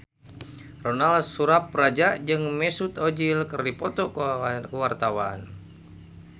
Ronal Surapradja jeung Mesut Ozil keur dipoto ku wartawan